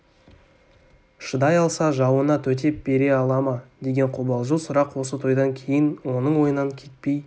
шыдай алса жауына төтеп бере ала ма деген қобалжу сұрақ осы тойдан кейін оның ойынан кетпей